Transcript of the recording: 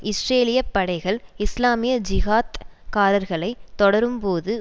இஸ்ரேலிய படைகள் இஸ்லாமிய ஜிகாத் காரர்களைத் தொடரும்போது